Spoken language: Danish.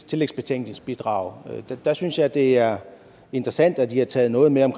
tillægsbetænkningsbidrag synes jeg det er interessant at i har taget noget med om